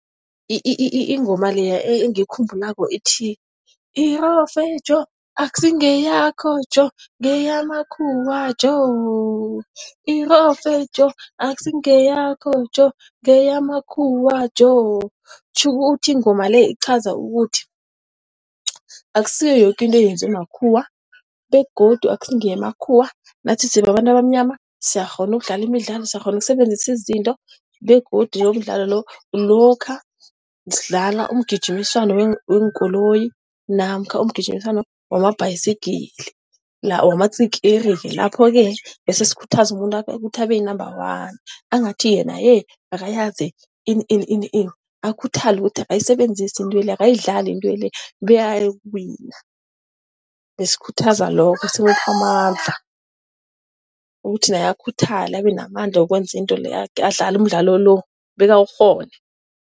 Ingoma leya engiyikhumbulako ithi irove Joe, akusingeyakho Joe ngeyamakhuwa Joe. Irove Joe akusingeyakho Joe ngeyamakhuwa Joe. Tjhukuthi ingoma le iqhaza ukuthi akusiyo yoke into yenziwe makhuwa begodu akusingeyamakhuwa. Nathi sibabantu abamnyama siyakghona ukudlala imidlalo. Siyakghona ukusebenzisa izinto begodu yomdlalo lo lokha sidlala umgijimiswano weenkoloyi namkha umgijimiswano wamabhasigili lawamatsikiri. Lapho-ke bese sikhuthaza umuntu ukuthi abe yinamba-one. Angathi yena akayazi ini ini ini akhuthale ukuthi akayisebenzise intwele, ayidlale intwele, bekayokuwina. Besikhuthaza lokho simupha amandla ukuthi naye akhuthale abenamandla ukwenza into leyo-ke, adlale umdlalo lo bekawukghone.